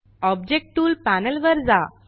object tool panel वर जा